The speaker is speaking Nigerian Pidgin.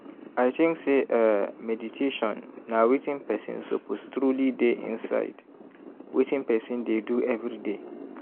i think say eeh meditation na wetin person suppose truely dey inside wetin person dey do everyday.